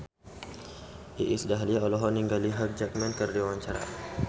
Iis Dahlia olohok ningali Hugh Jackman keur diwawancara